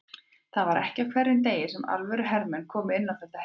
Það var ekki á hverjum degi sem alvöru hermenn komu inn á þetta heimili.